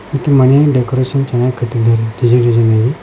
ಮತ್ತೆ ಮನೆಯ ಡೆಕೋರೇಷನ್ ಚನ್ನಾಗ್ ಕಟ್ಟಿದ್ದಾರೆ ಡಿಸೈನ್ ಡಿಸೈನ್ ಆಗಿ.